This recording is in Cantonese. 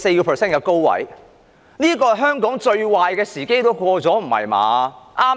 特首卻說香港最壞的時間已經過去，不是吧？